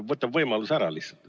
Ta võtab võimaluse lihtsalt ära.